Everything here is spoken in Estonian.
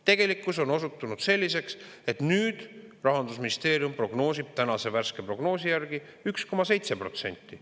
Tegelikkus on osutunud selliseks, et nüüd Rahandusministeerium prognoosib tänase värske prognoosi järgi 1,7%.